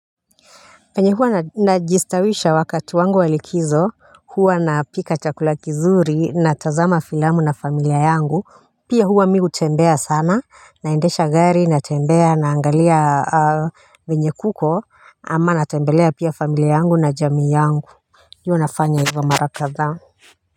Venye huwa najistawisha wakati wangu wa likizo hua napika chakula kizuri na tazama filamu na familia yangu pia hua mi hutembea sana naendesha gari natembea naangalia venye kuko ama natembelea pia familia yangu na jamii yangu huwa nafanya hivyo mara kadhaa.